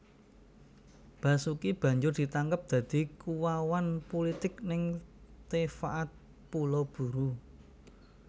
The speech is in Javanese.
Basuki banjur ditangkep dadi kuwawan pulitik ning Tefaat Pulau Buru